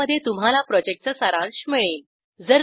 ज्यामध्ये तुम्हाला प्रॉजेक्टचा सारांश मिळेल